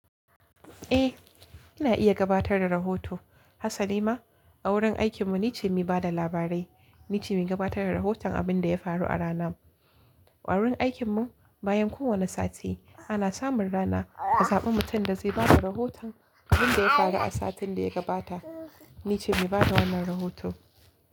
Eh, ina iya gabatar da rahoto. Hasalima a wurin aikinmu ni ce mai ba da labarai. Ni ce mai gabatar da rahoton abin da ya faru a ranan. A wurin aikinmu bayan kowane sati ana samun rana ka zaɓi mutum da zai basu rahoton abin da ya faru a satin da ya gabata. Ni ce mai ba da wannan rahoto.